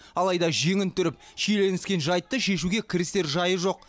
алайда жеңін түріп шиеленіскен жайтты шешуге кірісер жайы жоқ